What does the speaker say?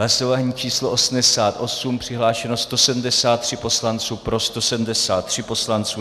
Hlasování číslo 88, přihlášeno 173 poslanců, pro 173 poslanců.